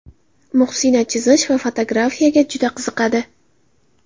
Muhsina chizish va fotografiyaga juda qiziqadi.